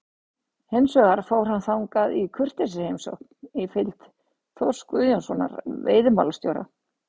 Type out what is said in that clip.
Hins vegar fór hann þangað í kurteisisheimsókn í fylgd Þórs Guðjónssonar veiðimálastjóra.